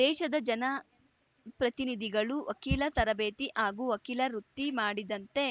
ದೇಶದ ಜನಪ್ರತಿನಿಧಿಗಳು ವಕೀಲ ತರಬೇತಿ ಹಾಗೂ ವಕೀಲ ವೃತ್ತಿ ಮಾಡಿದಂತೆ